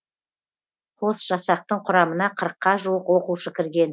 қос жасақтың құрамына қырыққа жуық оқушы кірген